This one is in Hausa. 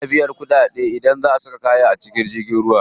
Ana biyan kuɗaɗe idan za a saka kaya a jirgin ruwa.